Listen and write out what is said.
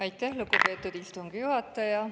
Aitäh, lugupeetud istungi juhataja!